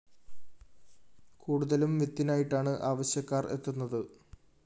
കൂടുതലും വിത്തിനായിട്ടാണ് ആവശ്യക്കാര്‍ എത്തുന്നത്